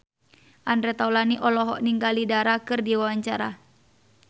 Andre Taulany olohok ningali Dara keur diwawancara